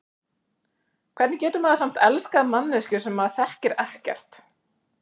Hvernig getur maður samt elskað manneskju sem maður þekkir ekkert?